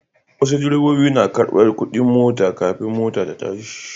Wasu direbobin nakarɓar kuɗin mota kafin mota ta tashi.